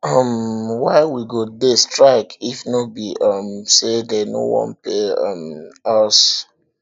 um why we go dey strike if no be um say dey no wan pay um us